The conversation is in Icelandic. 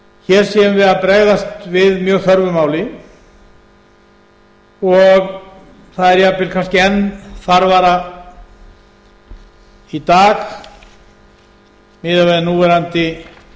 hér séum við að bregðast við mjög þörfu máli og það er jafnvel kannski enn þarfara í dag miðað við núverandi